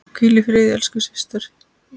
Hvíl í friði elsku systir.